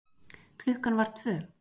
Klukkan var tvö.